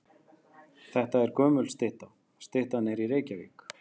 Þetta er gömul stytta. Styttan er í Reykjavík.